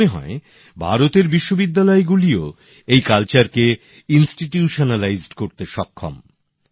আমার মনে হয় ভারতের বিশ্ববিদ্যালয়গুলিও এই সংস্কৃতিকে প্রাতিষ্ঠানিক রূপ দিতে সক্ষম